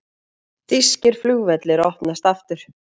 Þýskir flugvellir opnast aftur